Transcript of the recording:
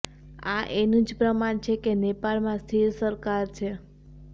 આ એનુંજ પ્રમાણ છે કે નેપાળમાં સ્થિર સરકાર છે